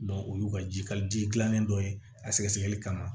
o y'u ka jikalaji dilannen dɔ ye a sɛgɛsɛgɛli kama